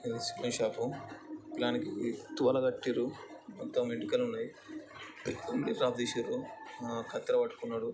ఇది ఒక షాపు . పిలగానికి తువాలు కట్టిర్రు మొత్తం వెంటుకలున్నయ్. తీశిర్రు ఆ కత్తెర పట్టుకున్నడు.